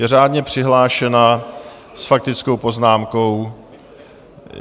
Je řádně přihlášena s faktickou poznámkou.